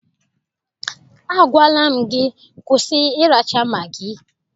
Agwala m gị, kwụsị ịracha magị!